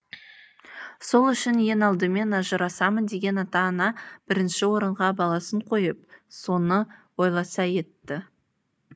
сол үшін ең алдымен ажырасамын деген ата ана бірінші орынға баласын қойып соны ойласа етті